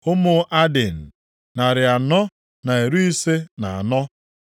Ụmụ Adin, narị anọ na iri ise na anọ (454).